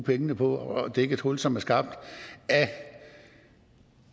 pengene på at dække et hul som er skabt af